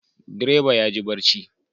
Direba yaji barci